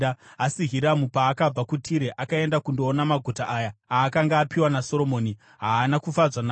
Asi Hiramu paakabva kuTire akaenda kundoona maguta aya aakanga apiwa naSoromoni, haana kufadzwa nawo.